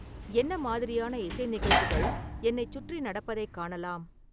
என்ன மாதிரியான இசை நிகழ்வுகள் என்னைச் சுற்றி நடப்பதைக் காணலாம்